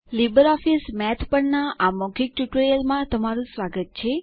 LibreOffice Math પરના આ મૌખિક ટ્યુટોરીયલમાં તમારું સ્વાગત છે